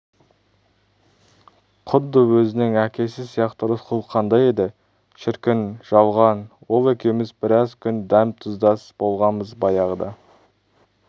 құдды өзінің әкесі сияқты рысқұл қандай еді шіркін жалған ол екеуміз біраз күн дәм-тұздас болғанбыз баяғыда